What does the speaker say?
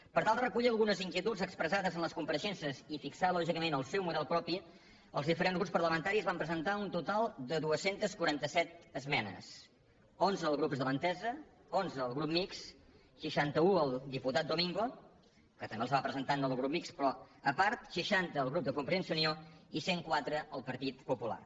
per tal de recollir algunes inquietuds expressades en les compareixences i fixar lògicament el seu model propi els diferents grups parlamentaris van presentar un total de dos cents i quaranta set esmenes onze els grups de l’entesa onze el grup mixt seixanta un el diputat domingo que també les va presentar en nom del grup mixt però a part seixanta el grup de convergència i unió i cent i quatre el partit popular